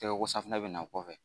Tɛgɛ ko safinɛ bɛ na o kɔfɛ